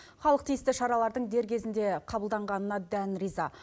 халық тиісті шаралардың дер кезінде қабылданғанына дән риза